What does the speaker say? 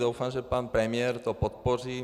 Doufám, že pan premiér to podpoří.